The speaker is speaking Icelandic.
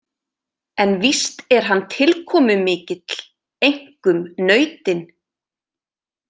En víst er hann tilkomumikill, einkum nautin.